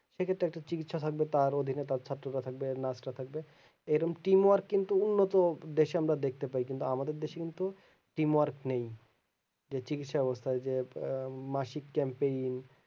সেক্ষেত্রে চিকিৎসা সাধ্য তার অধীনে তার ছাত্ররা থাকবে nurse রা থাকবে এই রকম team work কিন্তু উন্নত বেশি আমার দেখতে পাই কিন্তু আমাদের দেশে কিন্তু team work নেই যে চিকিৎসা ব্যবস্তাই যে আহ মাসিক camping